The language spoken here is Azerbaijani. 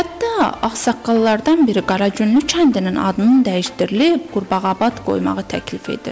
Hətta ağsaqqallardan biri Qaraqünlü kəndinin adının dəyişdirilib Qurbağabad qoymağı təklif edir.